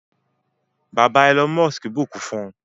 bàbà Elon bukún fún